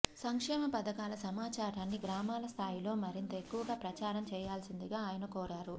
సంక్షేమ పథకాల సమాచారాన్ని గ్రామాల స్థాయిలో మరింత ఎక్కువగా ప్రచా రం చేయాల్సిందిగా ఆయన కోరారు